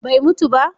bai mutu ba?